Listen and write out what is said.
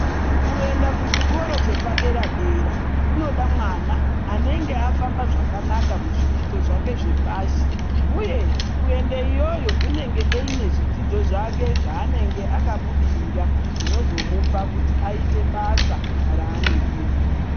Kuenda kuchikora chepadera dera kunoda mwana unenga afamba zvakanaka Muzvidzidzo zvake zvepashi uye kuende iyoyo unenge eine zvidzidzo zvake zvaanenge akabudirira zvinozomupe kuti basa raanenge eida.